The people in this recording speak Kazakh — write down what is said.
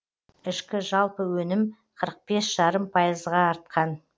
ішкі жалпы өнім қырық бес жарым пайызға артқан